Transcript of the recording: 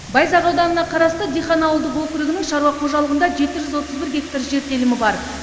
байзақ ауданына қарасты дихан ауылдық округінің шаруа қожалығында жеті жүз отыз бір гектар жер телімі бар